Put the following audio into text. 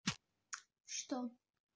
что